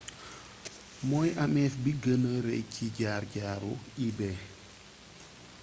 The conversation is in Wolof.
mooy amef bi gëna rey ci jaar jaaru ebay